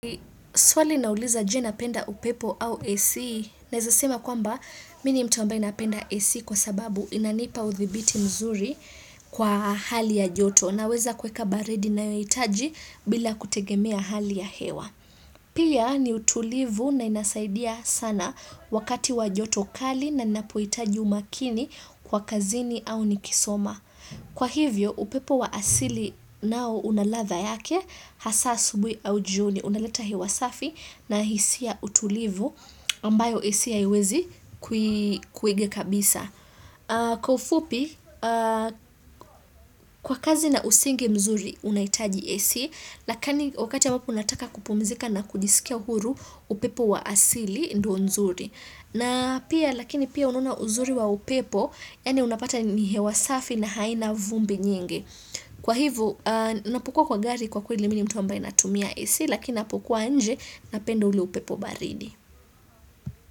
Swali nauliza je, napenda upepo au AC? Naweza sema kwamba mimi ni mtu ambae napenda AC, kwa sababu inanipa udhibiti mzuri kwa hali ya joto. Naweza kuweka baridi nayoitaji bila kutegemea hali ya hewa. Pia ni utulivu na inasaidia sana wakati wa joto kali na ninapohitaji umakini kwa kazini au nikisoma. Kwa hivyo, upepo wa asili nao unaladha yake, hasa asubuhi au jioni, unaleta hewa safi na hisia utulivu ambayo AC haiwezi kuiga kabisa. Kwa ufupi, kwa kazi na usingi mzuri unahitaji AC, lakini wakati unapo unataka kupumzika na kujisikia huru upepo wa asili ndo nzuri. Na pia lakini pia unona uzuri wa upepo yani unapata ni hewa safi na haina vumbi nyingi. Kwa hivyo napokuwa kwa gari kwa kweli mimi ni mtu ambaye natumia AC lakini napokuwa nje napenda ule upepo baridi.